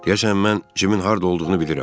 Deyəsən mən Cimin harda olduğunu bilirəm.